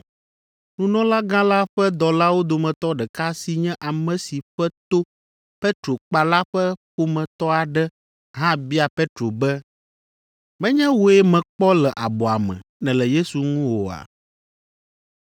Nunɔlagã la ƒe dɔlawo dometɔ ɖeka si nye ame si ƒe to Petro kpa la ƒe ƒometɔ aɖe hã bia Petro be, “Menye wòe mekpɔ le abɔa me, nèle Yesu ŋu oa?”